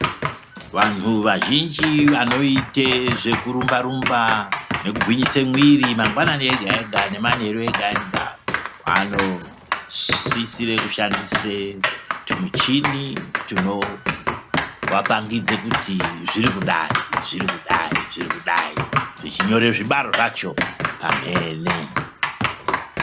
Vantu vazvinji vanoite zvekurumba nekugwinyise mwiri mangwanani ega ega nemanheru ega ega, vanosisire kushandisa tumuchini tunoapangidze kuri zvirikudai zvirikudai zvirikudai zvichinyore zvibaro zvacho pamhene.